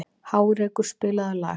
Hárekur, spilaðu lag.